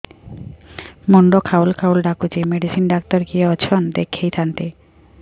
ମୁଣ୍ଡ ଖାଉଲ୍ ଖାଉଲ୍ ଡାକୁଚି ମେଡିସିନ ଡାକ୍ତର କିଏ ଅଛନ୍ ଦେଖେଇ ଥାନ୍ତି